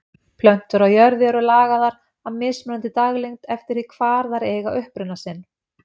Plöntur á jörðu eru lagaðar að mismunandi daglengd eftir því hvar þær eiga uppruna sinn.